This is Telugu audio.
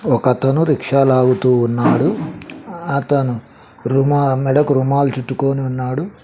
ఒకతను రిక్షా లాగుతూ ఉన్నాడు అతను రుమా మెడకు రూమాలు చుట్టుకోని ఉన్నాడు.